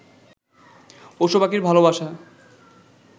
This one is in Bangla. পশু-পাখির ভালোবাসা